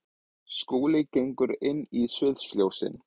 Skúli gengur inn í sviðsljósin.